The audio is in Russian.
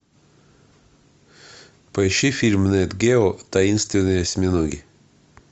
поищи фильм нет гео таинственные осьминоги